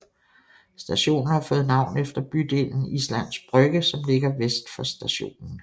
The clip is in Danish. Stationen har fået navn efter bydelen Islands Brygge som ligger vest for stationen